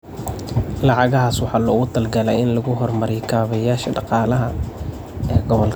Lacagahaas waxaa loogu talagalay in lagu horumariyo kaabayaasha dhaqaalaha ee gobolka.